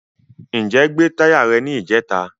Ǹjẹ́ gbé táyà rẹ ní ìjẹta?